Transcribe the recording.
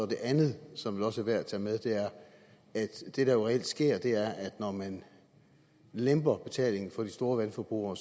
det andet som vel også er værd at tage med er at det der jo reelt sker er at når man lemper betalingen for de store vandforbrugere